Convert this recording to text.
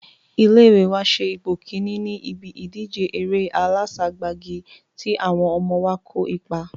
Ilé ìwé wa se ipò kíní ní ibí ìjíde eré aláságbagi tí àwọn ọmọ wa kó ipa